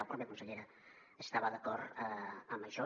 la pròpia consellera estava d’acord amb això